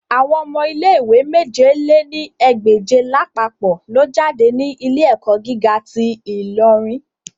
Awọn ọmọ ile-iwe mèje lé ní ẹgbẹ́je lapapọ lo jade ni ile-ẹkọ giga ti Ilorin